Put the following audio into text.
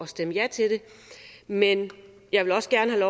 stemme ja til det men jeg vil også gerne have